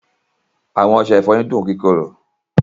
Àwọn ọṣẹ̀-ìfọ́yin dùn kíkòrò.